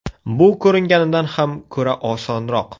Bu ko‘ringanidan ham ko‘ra osonroq.